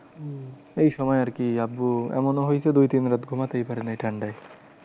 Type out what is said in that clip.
এই সময় আর কি আব্বু এমনও হয়েছে দুই তিন রাত ঘুমাতেই পারেনি এই ঠান্ডায়।